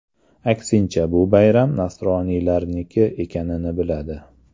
Aksincha, bu bayram nasroniylarniki ekanini biladi.